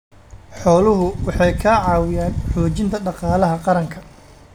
Xooluhu waxay ka caawiyaan xoojinta dhaqaalaha qaranka.